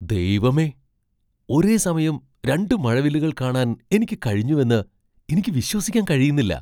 ദൈവമേ, ഒരേസമയം രണ്ട് മഴവില്ലുകൾ കാണാൻ എനിക്ക് കഴിഞ്ഞുവെന്ന് എനിക്ക് വിശ്വസിക്കാൻ കഴിയുന്നില്ല!